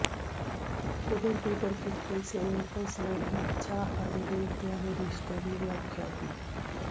ਕੁਦਰਤੀ ਪ੍ਰਕਿਰਤੀ ਸੇਲਟਸ ਨੇ ਇੱਛਾ ਅਤੇ ਦੇਵਤਿਆਂ ਦੇ ਰਿਸ਼ਤੇ ਦੀ ਵਿਆਖਿਆ ਕੀਤੀ